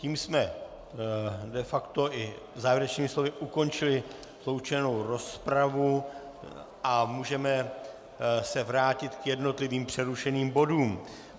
Tím jsme de facto i závěrečnými slovy ukončili sloučenou rozpravu a můžeme se vrátit k jednotlivým přerušeným bodům.